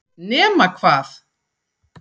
Nema hvað!?!